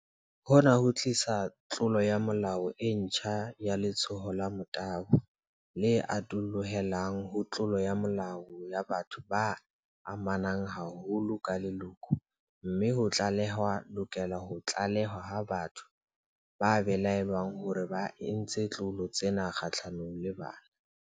Hona ho tlisa tlolo ya molao e ntjha ya letshoho la motabo, le atollohelang ho tlolo ya molao ya batho ba amanang haholo ka leloko, mme ho tlale-hwa lokela ho tlalehwa batho ba belaellwang hore ba entse ditlolo tsena kgahlanong le bana.